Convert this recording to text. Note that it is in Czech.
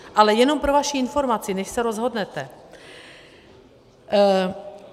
Ale jenom pro vaši informaci, než se rozhodnete.